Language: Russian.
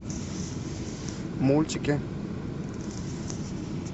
мультики